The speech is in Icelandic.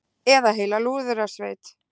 Eða heila lúðrasveit.